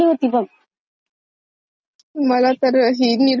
मला तर ही निरमा वालीच आठवतेय सध्या आणि अजून..